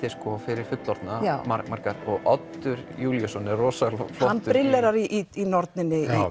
fyrir fullorðna marga og Oddur Júlíusson er rosa flottur hann brillerar í norninni